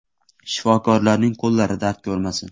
Shifokorlarning qo‘llari dard ko‘rmasin.